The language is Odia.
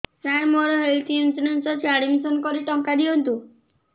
ସାର ମୋର ହେଲ୍ଥ ଇନ୍ସୁରେନ୍ସ ଅଛି ଆଡ୍ମିଶନ କରି ଟଙ୍କା ଦିଅନ୍ତୁ